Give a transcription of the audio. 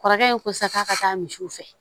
Kɔrɔkɛ in ko sisan k'a ka taa misiw fɛ